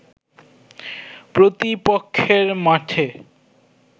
প্রতিপক্ষের মাঠে